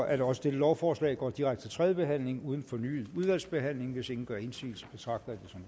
at også dette lovforslag går direkte til tredje behandling uden fornyet udvalgsbehandling hvis ingen gør indsigelse betragter